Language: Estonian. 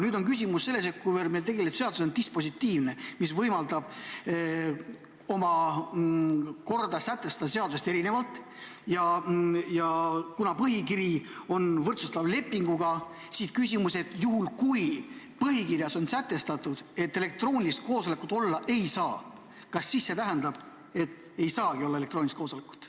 Nüüd on küsimus selles, et kuna meil tegelikult seadus on dispositiivne, mis võimaldab oma korra välja töötada seadusest erinevalt, ja kuna põhikiri on võrdsustav lepinguga, siis kui põhikirjas on sätestatud, et elektroonilist koosolekut olla ei saa, kas see siis tähendab, et ei saagi teha elektroonilist koosolekut?